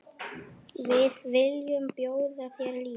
Við viljum bjóða þér líf.